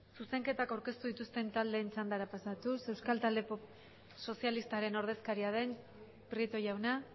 zuzenketak aurkeztu dituzten taldeen txandara pasatuz euskal talde sozialistaren ordezkaria den prieto jauna